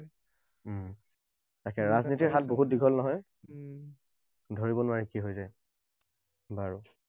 উম তাকে ৰাজনীতিৰ হাত বহুত দীঘল নহয়। ধৰিব নোৱাৰি কি হৈ যায়। বাৰু